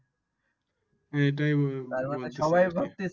হ্যা এটাই বলছে